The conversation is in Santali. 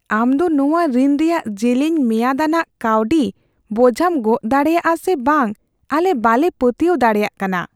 ᱟᱢ ᱫᱚ ᱱᱚᱶᱟ ᱨᱤᱱ ᱨᱮᱭᱟᱜ ᱡᱮᱞᱮᱧ ᱢᱮᱭᱟᱫ ᱟᱱᱟᱜ ᱠᱟᱹᱣᱰᱤ ᱵᱚᱡᱷᱟᱢ ᱜᱚᱜ ᱫᱟᱲᱮᱭᱟᱜᱼᱟ ᱥᱮ ᱵᱟᱝ ᱟᱞᱮ ᱵᱟᱞᱮ ᱯᱟᱹᱛᱭᱟᱹᱣ ᱫᱟᱲᱮᱭᱟᱜ ᱠᱟᱱᱟ ᱾